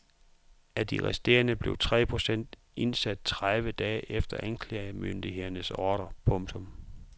Af de resterende blev tre procent indsat tredive dage efter anklagemyndigehedens ordre. punktum